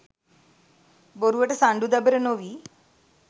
බොරුවට සණ්ඩු දබර නොවී.